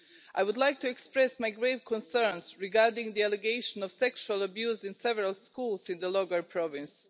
I would like to express my grave concerns regarding the allegation of sexual abuse in several schools in Logar Province.